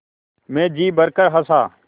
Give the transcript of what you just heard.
मैं जी भरकर हँसा